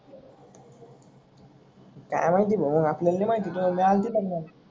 काय माहिती बाबा आपल्याला नाही माहिती तुझी आई आलती लगनाला.